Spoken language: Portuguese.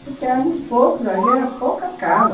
Porque éramos poucos ali, era pouca casa.